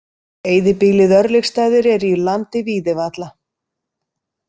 Eyðibýlið Örlygsstaðir er í landi Víðivalla.